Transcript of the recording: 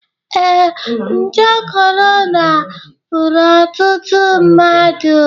Ee, nje kọrọna gburu otụtụ mmadụ.